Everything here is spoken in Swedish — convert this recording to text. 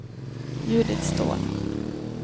Judit Ståhl